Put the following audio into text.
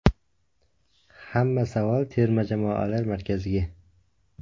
Hamma savol terma jamoalar markaziga.